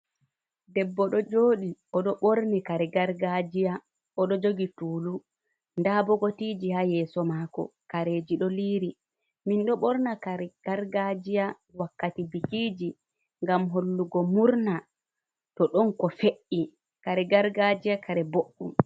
Debbo ɗo joɗi oɗo ɓorni kare gargajiya oɗo jogi tulu, nda bokitiji ha yeso mako, kareji ɗo liri. Min ɗo ɓorna kare gargajiya wakkati bikiji ngam hollugo murna to ɗon ko fe'i. Kare gargajiya kare boɗɗum.